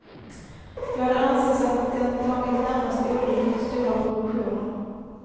Ja, det anses att den tagit närmast olyckligt stora proportioner.